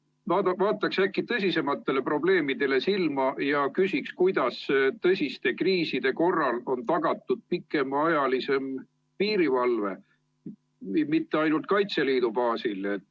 Vaataks äkki tõsisematele probleemidele silma ja küsiks, kuidas tõsiste kriiside korral on tagatud pikemaajalisem piirivalve, mitte ainult Kaitseliidu baasil.